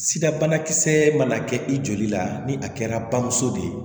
Sida banakisɛ mana kɛ i joli la ni a kɛra bamuso de ye